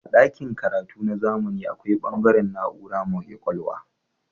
A dakin karatu na zamani akwai bangare na'ura mai kwakwalwa.